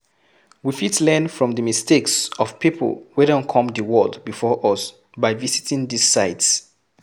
We fit learn from di mistakes of pipo wey don come di world before us by visiting these sites